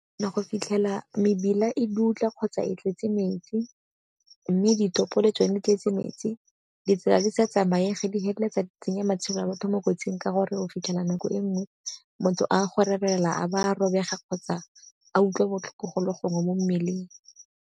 Ya go fitlhela mebila e dutla kgotsa e tlwetse metsi mme ditopo le tsone di tletse metsi, ditsela di sa tsamaye di heleletsa di tsenya matshelo a batho mo kotsing ka gore o fitlhela nako e nngwe motho a go rerelwa a ba a robega kgotsa a utlwa botlhoko go le gongwe mo mmeleng.